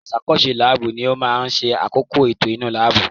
Aṣàkóso láàbù ni ó máa ń ṣe àkóko ètò inú láàbù